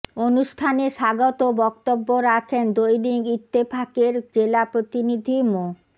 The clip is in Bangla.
অনুষ্ঠানে স্বাগত বক্তব্য রাখেন দৈনিক ইত্তেফাকের জেলা প্রতিনিধি মো